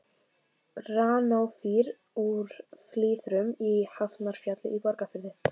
Granófýr úr Flyðrum í Hafnarfjalli í Borgarfirði.